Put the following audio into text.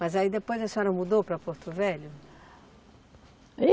Mas aí depois a senhora mudou para Porto Velho?